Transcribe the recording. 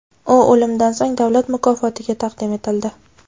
U o‘limidan so‘ng davlat mukofotiga taqdim etildi.